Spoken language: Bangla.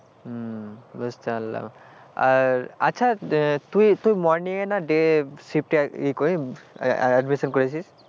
হম বুঝতে পারলাম আর, আচ্ছা তুই তুই morning করিস day এ admission করেছিস,